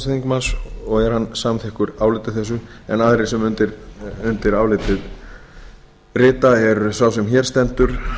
þingmanns og er hann samþykkur áliti þessu en aðrir sem undir álitið rita er sá sem hér stendur